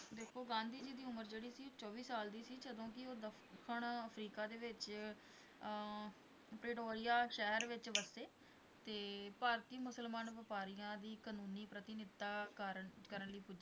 ਉਹਨਾਂ ਦੀ ਉਮਰ ਜਿਹੜੀ ਸੀ ਚੋਵੀ ਸਾਲ ਦੀ ਸੀ ਜਦੋਂ ਕਿ ਉਹ ਦੱਖਣ ਅਫਰੀਕਾ ਦੇ ਵਿੱਚ ਆਹ ਬੇਹਲੋਇਆ ਸ਼ਹਿਰ ਵਿੱਚ ਵਸੇ ਤੇ ਭਾਰਤੀ ਮੁਸਲਮਾਨ ਵਪਾਰੀਆਂ ਦੀ ਕਾਨੂੰਨੀ ਪ੍ਰਤਿਨਿਤਾ ਕਾਰਨ, ਕਰਨ ਲਈ ਪੁਜੇ